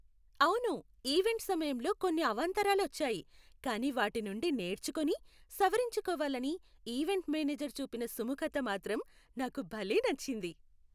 అవును, ఈవెంట్ సమయంలో కొన్ని అవాంతరాలు వచ్చాయి. కానీ వాటి నుండి నేర్చుకుని, సవరించుకోవాలని ఈవెంట్ మేనేజర్ చూపిన సుముఖత మాత్రం నాకు భలే నచ్చింది.